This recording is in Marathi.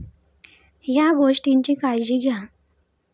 या' गोष्टींची घ्या काळजी